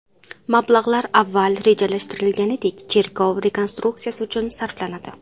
Mablag‘lar avval rejalashtirilganidek, cherkov rekonstruksiyasi uchun sarflanadi.